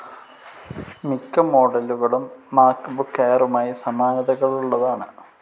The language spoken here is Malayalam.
മിക്ക മോഡലുകളും മാക്ബുക്ക് എയറുമായി സമാനതകളുള്ളതാണ്.